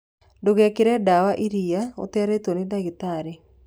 Ndugakirie dawa irĩa utaritwo ni ndagĩtarĩ